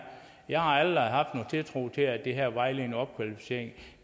jeg har aldrig haft nogen tiltro til at den her vejledende opkvalificering